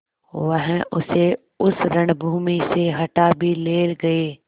वह उसे उस रणभूमि से हटा भी ले गये